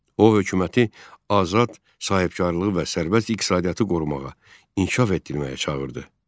O hökuməti azad sahibkarlığı və sərbəst iqtisadiyyatı qorumağa, inkişaf etdirməyə çağırdı.